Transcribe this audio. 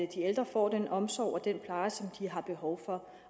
at de ældre får den omsorg og den pleje som de har behov for